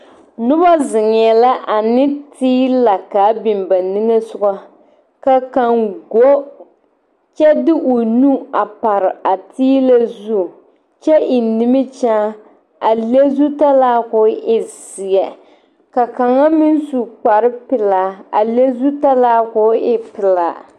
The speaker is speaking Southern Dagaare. Noba zeŋɛɛ la ane tiila k,a be ba nimisogɔ ka kaŋ go kyɛ de o nu a pare a tiila zu kyɛ eŋ nimikyaane a le zutala k,o e zeɛ ka kaŋa meŋ su kparepelaa a le zutala k,o e pelaa.